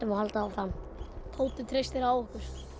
að halda áfram hópurinn treystir á